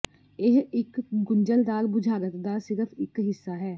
ਇਹ ਇੱਕ ਗੁੰਝਲਦਾਰ ਬੁਝਾਰਤ ਦਾ ਸਿਰਫ਼ ਇਕ ਹਿੱਸਾ ਹੈ